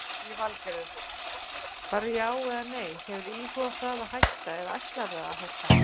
Lillý Valgerður: Bara já eða nei, hefurðu íhugað það að hætta eða ætlarðu að hætta?